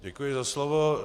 Děkuji za slovo.